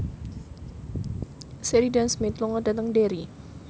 Sheridan Smith lunga dhateng Derry